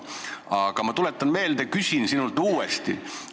Aga ma tuletan meelde ja küsin sinult uuesti.